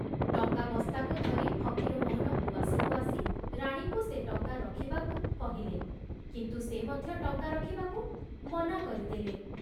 ଟଙ୍କା ବସ୍ତାକୁ ଧରି ଫକୀରମୋହନ ଉଆସକୁ ଆସି ରାଣୀଙ୍କୁ ସେ ଟଙ୍କା ରଖିବାକୁ କହିଲେ, କିନ୍ତୁ ସେ ମଧ୍ୟ ଟଙ୍କା ରଖିବାକୁ ମନା କରିଦେଲେ।